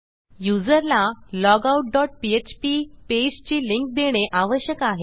युजरला logout dot PHP पेजची link देणे आवश्यक आहे